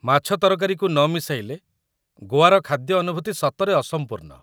ମାଛ ତରକାରୀକୁ ନ ମିଶାଇଲେ ଗୋଆର ଖାଦ୍ୟ ଅନୁଭୂତି ସତରେ ଅସମ୍ପୂର୍ଣ୍ଣ ।